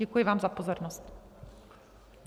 Děkuji vám za pozornost.